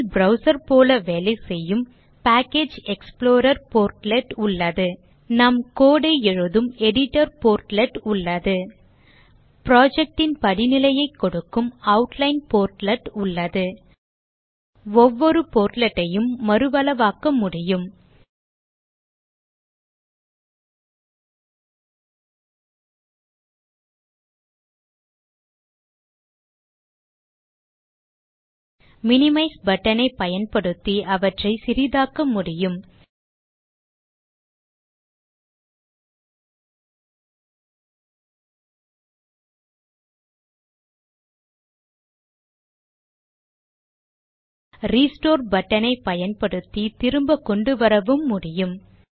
file browser போல வேலைசெய்யும் package explorer portlet உள்ளது நாம் code ஐ எழுதும் எடிட்டர் போர்ட்லெட் உள்ளது project ன் படிநிலையைக் கொடுக்கும் ஆட்லைன் போர்ட்லெட் உள்ளது ஒவ்வொரு portlet யும் மறுஅளவாக்க முடியும் மினிமைஸ் button ஐ பயன்படுத்தி அவற்றை சிறிதாக்க முடியும் ரெஸ்டோர் button ஐ பயன்படுத்தி திரும்ப கொண்டுவரவும் முடியும்